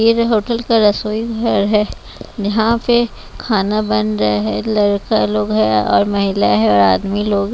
ये जो होटल का रसोई घर है निहां पे खाना बन रहा है लड़का लोग है और महिला है और आदमी लोग --